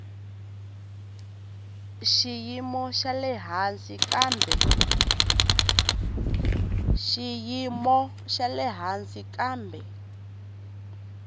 xiyimo xa le hansi kambe